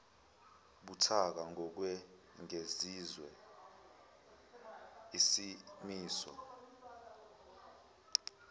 buthaka ngokwengeziwe isimiso